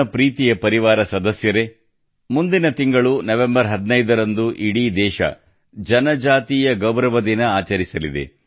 ಪ್ರೀತಿಯ ಪರಿವಾರ ಸದಸ್ಯರೇ ಮುಂದಿನ ತಿಂಗಳು ನವೆಂಬರ್ 15 ರಂದು ಇಡೀ ದೇಶ ಜನಜಾತೀಯ ಗೌರವ ದಿನ ಆಚರಿಸಲಿದೆ